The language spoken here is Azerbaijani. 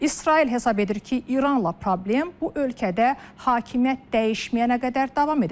İsrail hesab edir ki, İranla problem bu ölkədə hakimiyyət dəyişməyənə qədər davam edəcək.